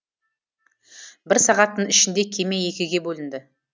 бір сағаттың ішінде кеме екіге бөлінді